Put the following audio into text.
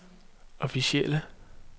officielle